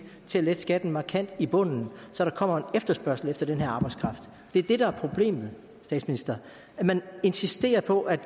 til at lette skatten markant i bunden så der kommer en efterspørgsel efter den her arbejdskraft det er det der er problemet statsminister man insisterer på at